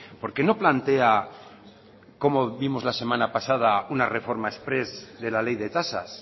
por qué no plantea como vimos la semana pasada una reforma exprés de la ley de tasas